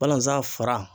Balanzan fara